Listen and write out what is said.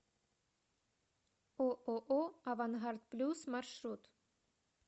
ооо авангард плюс маршрут